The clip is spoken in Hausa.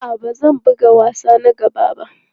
A'a, ba zan buga wasa na gaba ba.